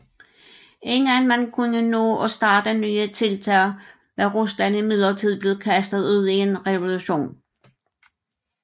Inden man kunne nå at starte nye tiltag var Rusland imidlertid blevet kastet ud i en revolution